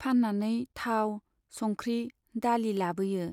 फान्नानै थाव , संख्रि , दालि लाबोयो।